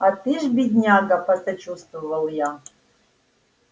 а ты ж бедняга посочувствовал я